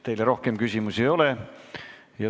Teile rohkem küsimusi ei ole.